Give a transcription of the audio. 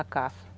A caça.